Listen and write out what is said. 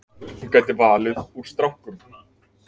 Hún gæti valið úr strákum.